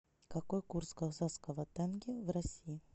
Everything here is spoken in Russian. какой курс казахского тенге в россии